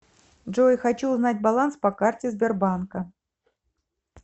джой хочу узнать баланс по карте сбербанка